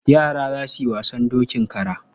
Yara za su yi wasan dokin kara.